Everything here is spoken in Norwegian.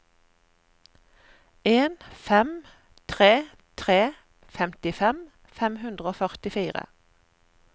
en fem tre tre femtifem fem hundre og førtifire